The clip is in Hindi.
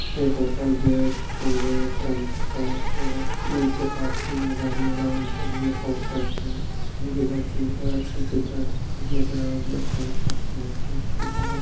ये होटल गेटवे क्रांतका है नीचे पार्किंग है गाड़ी वाला ऊपर में होटल है अच्छा भी आ_ई_पी है ठीक है इसमें गरम रहते है खाते है पेट पूजा होता --